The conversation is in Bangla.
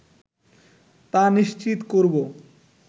তা নিশ্চিত করবো